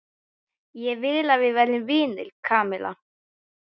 Ég vil að við verðum vinir, Kamilla.